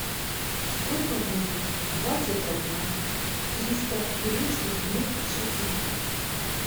сколько будет двадцать одна триста турецких лир в шекелях